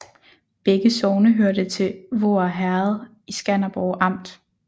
Begge sogne hørte til Voer Herred i Skanderborg Amt